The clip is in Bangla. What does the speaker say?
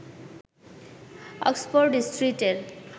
অক্সফোর্ড স্ট্রীটের